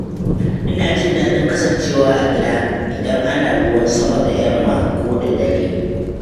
Ina jin daɗin kasancewa a gida, idan ana ruwan sama da yamma ko dare.